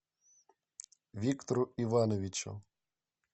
виктору ивановичу